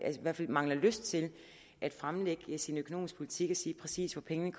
i hvert fald mangler lyst til at fremlægge sin økonomiske politik og sige præcis hvor pengene